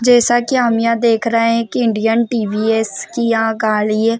जैसा की हम यहाँ देख रहे है की इंडियन टी.वी.एस. की यहाँ गाडी है।